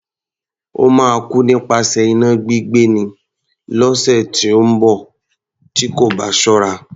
Ó máa kú nípasẹ̀ iná gbígbé ni, lọ́sẹ̀ tí ó ń bọ̀ tí kò bá ṣọ́ra.